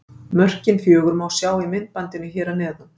Mörkin fjögur má sjá í myndbandinu hér að neðan.